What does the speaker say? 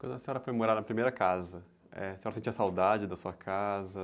Quando a senhora foi morar na primeira casa, eh, a senhora sentia saudade da sua casa?